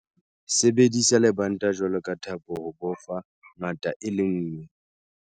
Sebedisa lebanta jwalo ka thapo ho bofa ngata e le nngwe.